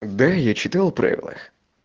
да я читал правила